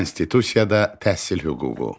Konstitusiyada təhsil hüququ.